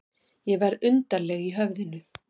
Ég verð undarleg í höfðinu.